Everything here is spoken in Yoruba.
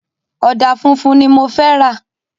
Ọ̀dà funfun ni mo fẹ́ rà.